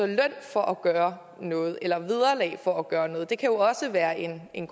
løn for at gøre noget eller vederlag for at gøre noget det kan jo også være en en